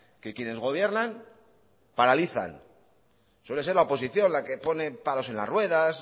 que quienes gobiernan paralizan suele ser la oposición la que pone palos en la ruedas